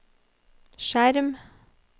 skjerm